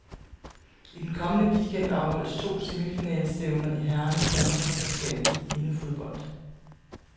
I den kommende weekend afholdes to semifinalestævner i herrernes danmarksmesterskab i indefodbold.